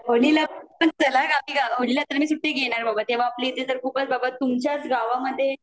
होळीका होळी ल तर मी सुट्टी घेणार बाबा तेव्हा आपल्या इथे तर खूपच बाबा तुमच्याच गावामध्ये